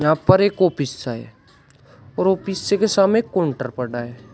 यहां पर एक आपिस है और ऑफिसे के सामे एक काउंटर पड़ा है।